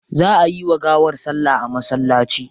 Za ayi wa gawar salla a masallaci.